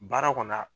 Baara kɔnɔ